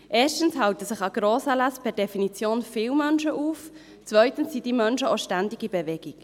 Erstens halten sich an Grossanlässen per Definition viele Menschen auf, zweitens sind diese Menschen auch ständig in Bewegung.